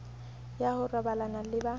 ya ho robalana le ba